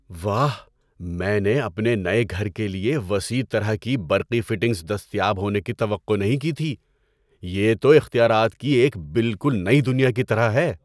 ‏واہ، میں نے اپنے نئے گھر کے لیے وسیع طرح کی برقی فٹنگز دستیاب ہونے کی توقع نہیں کی تھی – یہ تو اختیارات کی ایک بالکل نئی دنیا کی طرح ہے‏!